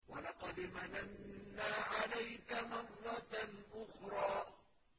وَلَقَدْ مَنَنَّا عَلَيْكَ مَرَّةً أُخْرَىٰ